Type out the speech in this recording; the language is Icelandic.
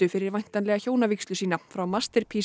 fyrir væntanlega hjónavígslu sína frá